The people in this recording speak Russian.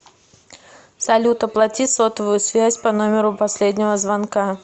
салют оплати сотовую связь по номеру последнего звонка